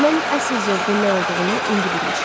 Mən əsl zövqün nə olduğunu indi bilmişəm.